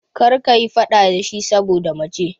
Kar ka yi faɗa da shi saboda mace!